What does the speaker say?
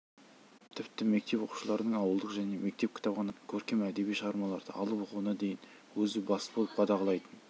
тіпті мектеп оқушыларының ауылдық және мектеп кітапханасынан көркем әдеби шығармаларды алып оқуына дейін өзі бас болып қадағалайтын